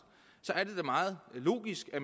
så er det da meget logisk at